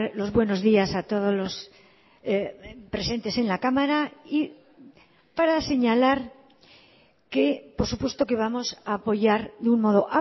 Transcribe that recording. los buenos días a todos los presentes en la cámara y para señalar que por supuesto que vamos a apoyar de un modo